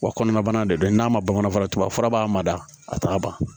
Wa kɔnɔna bana de don n'a ma ban fana tubabu fura b'a mada a t'a ban